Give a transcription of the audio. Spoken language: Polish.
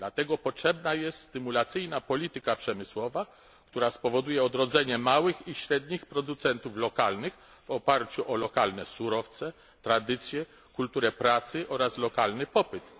Dlatego potrzebna jest stymulacyjna polityka przemysłowa, która spowoduje odrodzenie małych i średnich producentów lokalnych w oparciu o lokalne surowce, tradycje, kulturę pracy oraz lokalny popyt.